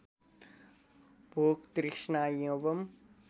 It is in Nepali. भोक तृष्णा एवं